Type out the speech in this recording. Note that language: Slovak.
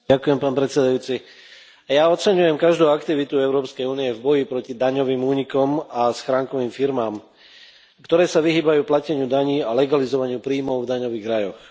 Pán predsedajúci, ja oceňujem každú aktivitu Európskej únie v boji proti daňovým únikom a schránkovým firmám, ktoré sa vyhýbajú plateniu daní, a legalizovaniu príjmov v daňových rajoch.